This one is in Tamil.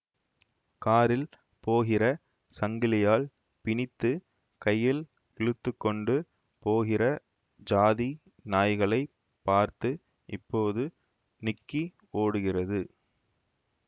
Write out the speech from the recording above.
காரில் போகிற சங்கிலியால் பிணித்து கையில் இழுத்து கொண்டு போகிற ஜாதி நாய்களை பார்த்து இப்போது நிக்கி ஓடுகிறது